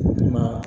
Ne ma